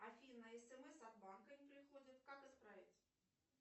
афина смс от банка не приходят как исправить